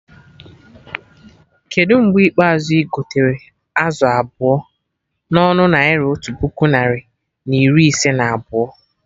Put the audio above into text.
Kedụ mgbe ikpeazụ igotere azụ abụọ na ọnụ Naira otu puku narị na iri ise na abụọ?